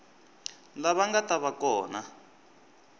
lava nga ta va kona